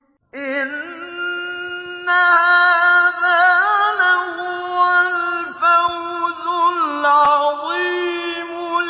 إِنَّ هَٰذَا لَهُوَ الْفَوْزُ الْعَظِيمُ